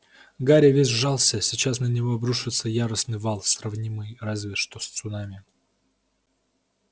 гарри весь сжался сейчас на него обрушится яростный вал сравнимый разве что с цунами